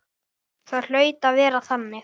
Það hlaut að vera þannig.